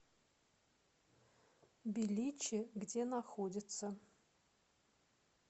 беличи где находится